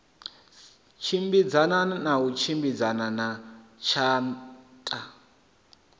tshimbidzana na tshimbidzana na tshatha